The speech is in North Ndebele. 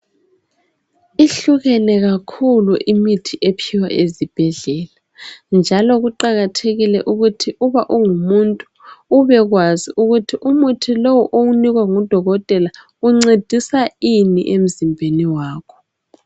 ihlukene kakhulu imithi ephiwa ezibhedlela njalo kuqakathekile ukuthi uba ungumuntu ube kwazi ukuthi umuthi lowu owunikwe ngu dokotela uncedisa ini emzimbeni wakho